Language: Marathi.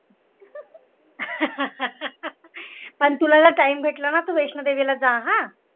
पण तुला जर time भेटला ना तर वैष्णोदेवीला जा हा